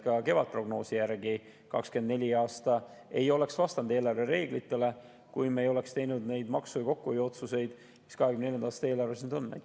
Ka kevadprognoosi järgi 2024. aastal ei oleks vastanud eelarvereeglitele, kui me ei oleks teinud neid maksu‑ ja kokkuhoiuotsuseid, mis 2024. aasta eelarves nüüd on.